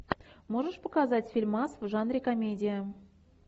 можешь показать фильмас в жанре комедия